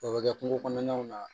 O bɛ kɛ kungo kɔnɔnaw na